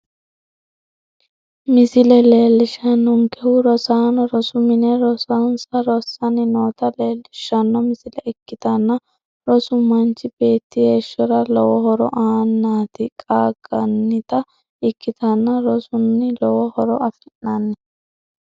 Misile leelishanonkehu rosaano rosu mine rosonsa rasanni noota leelishano misile ikitanna rosu machi beeti heeshora lowo horo aanniti qaangannita ikitanna rosunni lowo horo afi'nanni